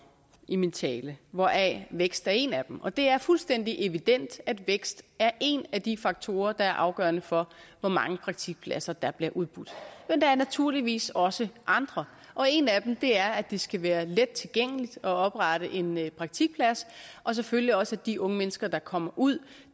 i min tale hvoraf vækst er en af dem og det er fuldstændig evident at vækst er en af de faktorer der er afgørende for hvor mange praktikpladser der bliver udbudt men der er naturligvis også andre og en af dem er at det skal være let tilgængeligt at oprette en praktikplads og selvfølgelig også at de unge mennesker der kommer ud